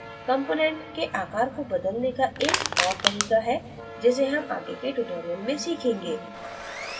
component के आकार को बदलने का एक और तरीका है जिसे हम आगे के tutorial में सीखेंगे